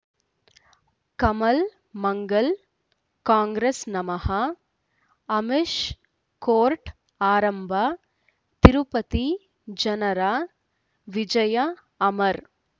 ಕಮಲ್ ಮಂಗಳ್ ಕಾಂಗ್ರೆಸ್ ನಮಃ ಅಮಿಷ್ ಕೋರ್ಟ್ ಆರಂಭ ತಿರುಪತಿ ಜನರ ವಿಜಯ ಅಮರ್